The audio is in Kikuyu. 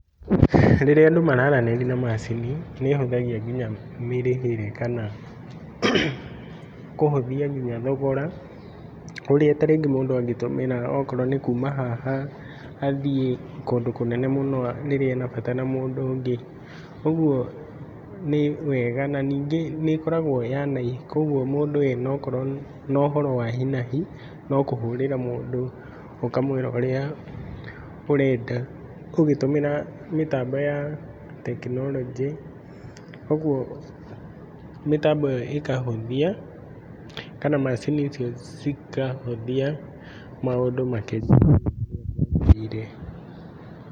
Rĩrĩa andũ mararanĩria ma macini nĩ ĩhũthagia nginya mĩrĩhĩre kana kũhũthia nginya thogora ũrĩa ta rĩu mũndũ angĩtũmĩra okorwo nĩ kuma haha athiĩ kũndũ kũnene mũno rĩrĩa ena bata na mũndũ ũngĩ. Ũguo nĩ wega na ningĩ nĩ ĩkoragwo ya kwoguo mũndũ akorwo na ũhoro wa hi na hi no kũhũrĩra mũndũ ũkamũĩra ũrĩa ũrenda ũgĩtũmĩra mĩtambo ya tekinoronjĩ. Ũguo mĩtambo ĩyo ĩkahũthia kana macini icio cikahũthia maũndũ makĩria.